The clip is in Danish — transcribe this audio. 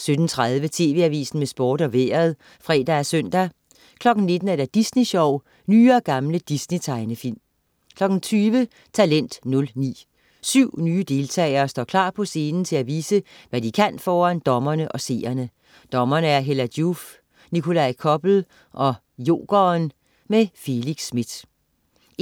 18.30 TV Avisen med Sport og Vejret (fre og søn) 19.00 Disney Sjov. Nye og gamle Disney-tegnefilm 20.00 Talent 09. Syv nye deltagere står klar på scenen til at vise, hvad de kan foran dommerne og seerne. Dommere: Hella Joof, Nikolaj Koppel og Jokeren. Felix Smith